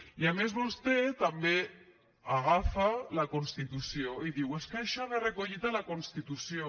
i a més vostè també agafa la constitució i diu és que això ve recollit a la constitució